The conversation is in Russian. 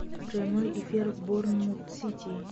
прямой эфир борнмут сити